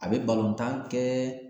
A bi kɛ